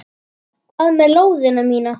Hvað með lóðina mína!